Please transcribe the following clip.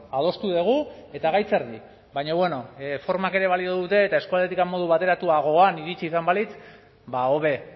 adostu dugu eta gaitz erdi baina bueno formak ere balio dute eta eskualdetik modu bateratuagoan iritsi izan balitz hobe